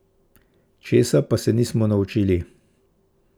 Česa pa se nismo naučili?